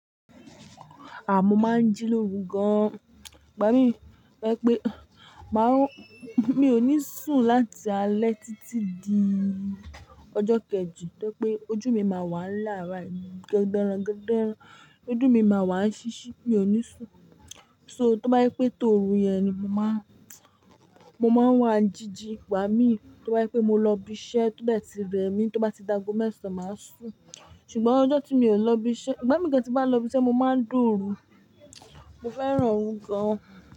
À mó máa ń jí lórú gan. Igba mi to je pé a máò, mi ò ní sùn láti alẹ́ títí di ọjọ́ kejì. Tẹ́ pé ojú mi máa wà lára ń gbe ran, ń gbe ran. Ojú mi máa wà ṣíṣí, mi ò ní sùn. So tó bá je pé tòru yẹn ni mo máa, mo máa wà jíjí. Ìgba mi, tó bá je pé mo lọ ibi iṣẹ́, tó bẹ́ẹ̀ tí bẹ́ mi, tó bá ti d'aago mẹ̀sàn, màá sùn. Ṣùgbọ́n ọjọ́ tí mi ò lọ ibi iṣẹ́, igba mi gan tí bá lọ ibi iṣẹ́, mo máa ń dùrù. Mo fẹ́ràn òru gan.